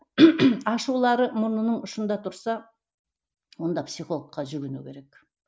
ашулары мұрнының ұшында тұрса онда психологқа жүгіну керек